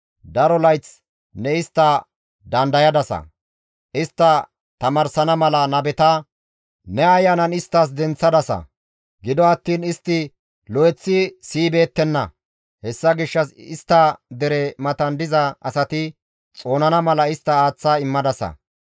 Daro layth ne istta dandayadasa; istta tamaarsana mala nabeta ne Ayanan isttas denththadasa; gido attiin istti lo7eththi siyibeettenna; hessa gishshas istta dere matan diza asati xoonana mala istta aaththa immadasa.